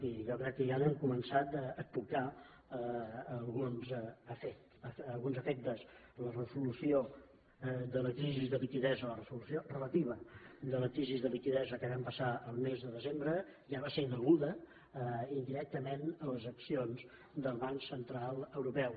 i jo crec que ja n’hem començat a tocar alguns efectes la resolució de la crisi de liquiditat la resolució relativa de la crisi de liquiditat que vam passar el mes de desembre ja va ser deguda indirectament a les accions del banc central europeu